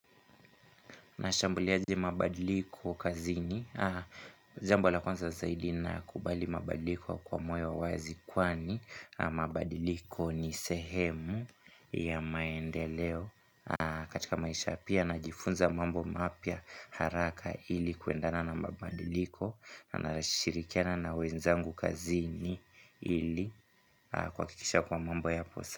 Mashambuliazi mabadiliko kazini, zambulakonza zaidina kubali mabadiliko kwa mwe wawazi kwani mabadiliko ni sehemu ya maendeleo katika maisha, pia najifunza mambo mapya haraka ili kuendana na mabadiliko na ninashirikiana na wenzangu kazini ili kuhakikisha kuwa mambo yako sawa.